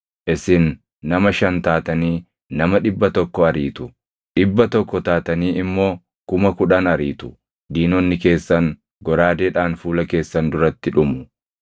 Isin nama shan taatanii nama dhibba tokko ariitu; dhibba tokko taatanii immoo kuma kudhan ariitu; diinonni keessan goraadeedhaan fuula keessan duratti dhumu.